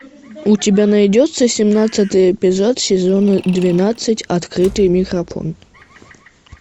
у тебя найдется семнадцатый эпизод сезона двенадцать открытый микрофон